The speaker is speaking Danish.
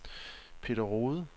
Peter Rohde